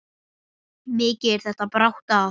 Mikið bar þetta brátt að.